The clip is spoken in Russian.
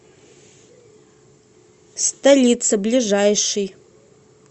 столица ближайший